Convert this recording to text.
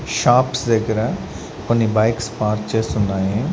Shops దగ్గర కొన్ని bikes park చేసి ఉన్నాయి.